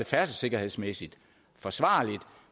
færdselssikkerhedsmæssigt forsvarligt